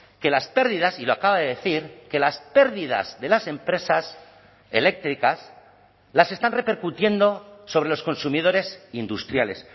que las pérdidas y lo acaba de decir que las pérdidas de las empresas eléctricas las están repercutiendo sobre los consumidores industriales